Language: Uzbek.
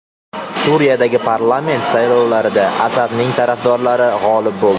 Suriyadagi parlament saylovlarida Asadning tarafdorlari g‘olib bo‘ldi.